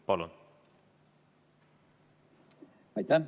Palun!